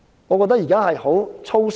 我覺得現時政府很粗疏。